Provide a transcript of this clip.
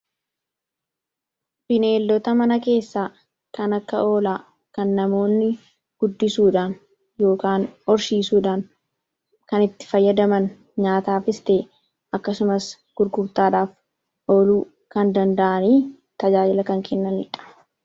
bineellota mana keessaa kan akka oolaa kan namoonni guddisuudhaan ykn orshiisuudhaan kan itti fayyadaman nyaataa fistee akkasumas gurgurtaadhaaf oluu kan danda'anii tajaajila kan kennanidha